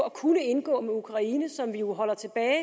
at kunne indgå med ukraine som vi jo holder tilbage